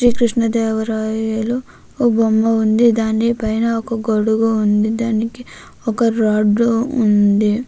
శ్రీకృష్ణదేవరాయల బొమ్మ ఉంది. దాని పైన ఒక గొడుగు ఉంది. దానికి ఒక రాడ్డు ఉంది.